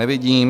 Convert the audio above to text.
Nevidím.